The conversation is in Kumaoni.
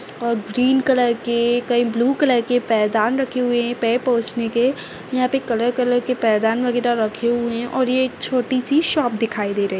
और ग्रीन कलर के कई ब्लू कलर के पैदान रखे हुए है पैर पोछने के यहाँ पे कलर कलर के पैदान वगेरा रखे हुए हैं और ये छोटी सी शॉप दिखाई दे रही है।